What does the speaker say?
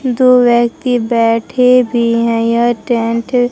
दो व्यक्ति बैठे भी हैं यह टेंट --